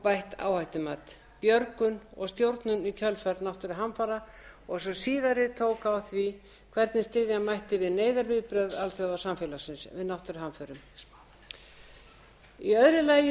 bætt áhættumat björgun og stjórnun í kjölfar náttúruhamfara og sú síðari tók á því hvernig styðja mætti við neyðarviðbrögð alþjóðasamfélagsins við náttúruhamförum í öðru lagi